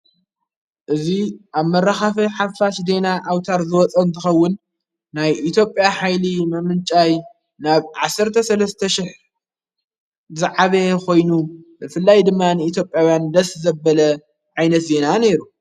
እዙይ ኣብ መራኻፈ ሓፋሽ ዴና ኣውታር ዘወጸን ትኸውን ናይ ኢቲጴያ ኃይሊ መምንጫይ ናብ ዓሠርተ ሠለስተ ሽሕ ዝዓበ ኾይኑ ብፍላይ ድማ ንኢቲጴኣውያን ደስ ዘበለ ዓይነስ ዜና ነይሩ።